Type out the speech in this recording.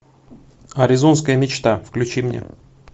аризонская мечта включи мне